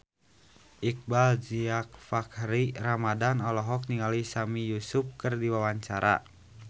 Iqbaal Dhiafakhri Ramadhan olohok ningali Sami Yusuf keur diwawancara